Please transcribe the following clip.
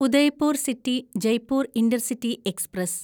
Udaipur city Jaipur intercity express